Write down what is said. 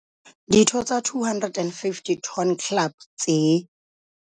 Ditho tsa 250 Ton Club tse.